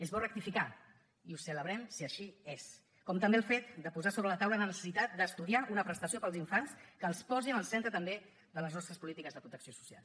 és bo rectificar i ho celebrem si així és com també el fet de posar sobre la taula la necessitat d’estudiar una prestació per als infants que els posi en el centre també de les nostres polítiques de protecció social